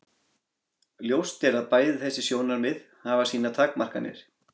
Ljóst er að bæði þessi sjónarmið hafa sínar takmarkanir.